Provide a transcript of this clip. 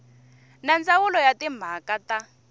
na ndzawulo ya timhaka ta